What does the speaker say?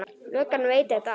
Löggan veit þetta allt.